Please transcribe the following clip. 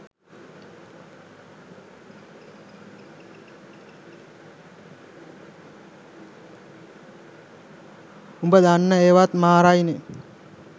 උඹ දන්න ඒවත් මාරයිනෙ